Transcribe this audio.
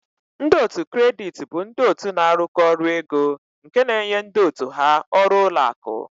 Ndị otu kredit bụ ndị otu na-arụkọ ọrụ ego nke na-enye ndị otu ha ọrụ ụlọ akụ.